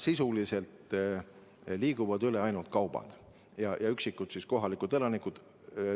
Sisuliselt liiguvad üle piiri ainult kaubad ja üksikud kohalikud elanikud.